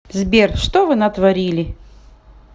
сбер что вы натворили